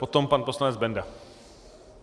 Potom pan poslanec Benda.